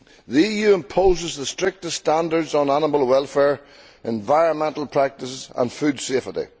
The EU imposes the strictest standards on animal welfare, environmental practices and food safety.